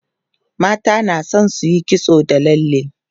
mata na da San suyi kitso da lalle